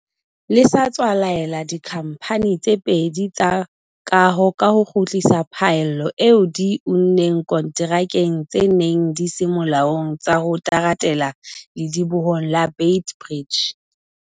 le sa tswa laela dikhamphane tse pedi tsa kaho ho kgutlisa phaello eo di e unneng konterakeng tse neng di se molaong tsa ho teratela ledibohong la Beit Bridge.